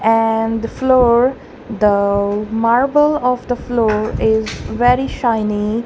and floor the marble of the floor is very shiny.